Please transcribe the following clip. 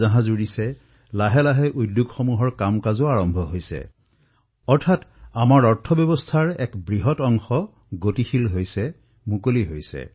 অনেক সতৰ্কতাৰ সৈতে বিমানসমূহে যাত্ৰা আৰম্ভ কৰিবলৈ ধৰিছে ধীৰে ধীৰে উদ্যোগসমূহো চলিবলৈ ধৰিছে অৰ্থাৎ অৰ্থব্যৱস্থাৰ এক বিশেষ অংশ এতিয়া মুকলি হৈছে